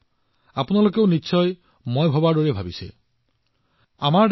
আপুনি নিশ্চয় মোৰ দৰে একে চিন্তা কৰিছে